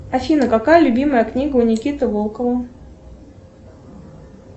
афина какая любимая книга у никиты волкова